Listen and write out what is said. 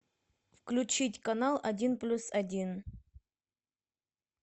включить канал один плюс один